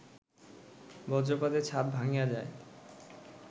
বজ্রপাতে ছাদ ভাঙ্গিয়া যায়